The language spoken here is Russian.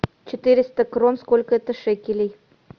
четыреста крон сколько это шекелей